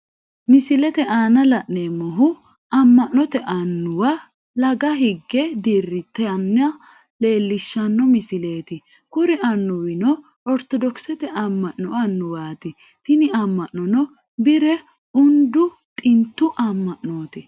Misilete aanna la'neemohu ama'note annuwa Laga hige diritanna leelishano misileeti. kuri anuwano ortodokisete ama'no anuwaati tinni ama'nono bire undu xintu ama'nooti.